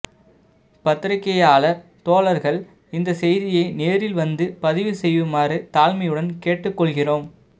பத்திரிக்கையாளர் தோழர்கள் இந்த செய்தியை நேரில் வந்து பதிவு செய்யுமாறு தாழ்மையுடன் கேட்டுக் கொள்கிறோம்